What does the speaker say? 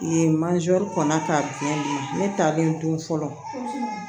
Yen kɔnna ka di ne ye ne talen don fɔlɔ